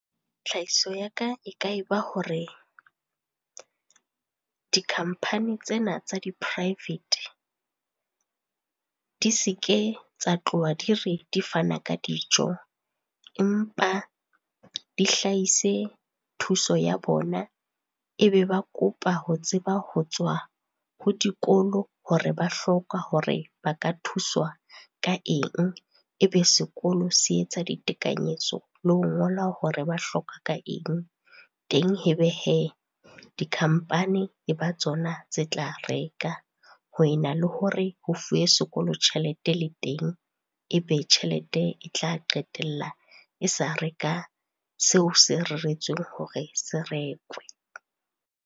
Tlhahiso ya ka e ka e ba hore, dikhampani tsena tsa di-private di seke tsa tloha di re di fana ka dijo empa di hlahise thuso ya bona, e be ba kopa ho tseba ho tswa ho dikolo hore ba hloka hore ba ka thuswa ka eng. Ebe sekolo se etsa ditekanyetso le ho ngola hore ba hloka ka eng. Teng ebe hee, dikhampani e ba tsona tse tla reka ho ena le hore ho fuwe sekolo tjhelete le teng, e be tjhelete e tla qetella e sa reka seo se reretsweng hore se rekwe.